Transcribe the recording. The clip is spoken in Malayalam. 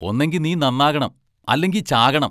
ഒന്നെങ്കി നീ നന്നാകണം; അല്ലെങ്കിച്ചാകണം.